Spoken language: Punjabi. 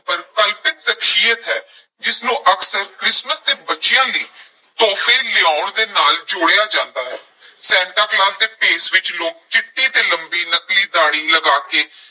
ਪਰ ਕਲਪਿਤ ਸ਼ਖਸੀਅਤ ਹੈ ਜਿਸ ਨੂੰ ਅਕਸਰ ਕ੍ਰਿਸਮਸ ਤੇ ਬੱਚਿਆਂ ਲਈ ਤੋਹਫ਼ੇ ਲਿਆਉਣ ਦੇ ਨਾਲ ਜੋੜਿਆ ਜਾਂਦਾ ਹੈ ਸੈਂਟਾ ਕਲੌਸ ਦੇ ਭੇਸ ਵਿੱਚ ਲੋਕ ਚਿੱਟੀ ਤੇ ਲੰਬੀ ਨਕਲੀ ਦਾੜ੍ਹੀ ਲਗਾ ਕੇ